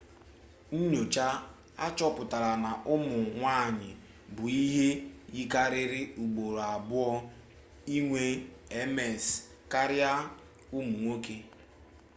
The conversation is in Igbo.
nnyocha achọpụtala na ụmụ nwanyị bụ ihe yikarịrị ugboro abụọ inwe ms karịa ụmụ nwoke